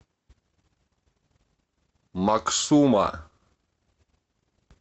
максума